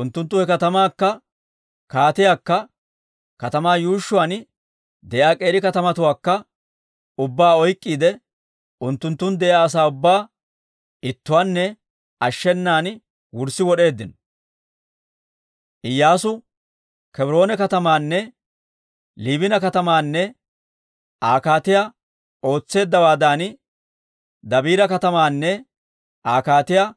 Unttunttu he katamaakka, kaatiyaakka, katamaa yuushshuwaan de'iyaa k'eeri katamatuwaakka ubbaa oyk'k'iide unttunttun de'iyaa asaa ubbaa ittuwaanne ashshenan wurssi wod'eeddino. Iyyaasu Kebroona katamaanne Liibina katamaanne Aa kaatiyaa ootseeddawaadan, Dabiira katamaanne Aa kaatiyaa